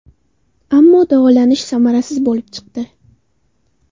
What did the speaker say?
Ammo davolanish samarasiz bo‘lib chiqdi.